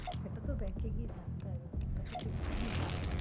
সেটা তো bank এ গিয়ে জানতে হবে, ওটা তো ঠিক জানি না আমি।